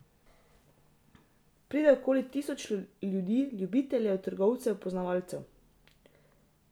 Pride okoli tisoč ljudi, ljubiteljev, trgovcev, poznavalcev.